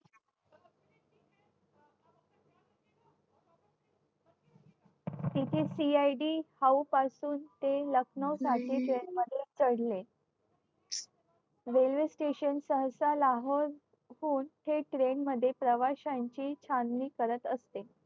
CID पासून लखनौ साठी train मध्ये चढले